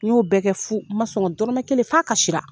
N y'o bɛɛ kɛ fu, n ma sɔn ka dɔrɔmɛ kelen f'a kasira